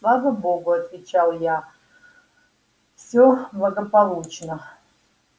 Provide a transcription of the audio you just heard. слава богу отвечал я все благополучно